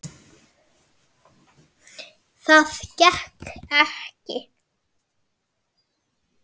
Það gekk ekki